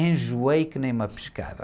Enjoei que nem uma pescada.